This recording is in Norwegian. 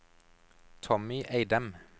Tommy Eidem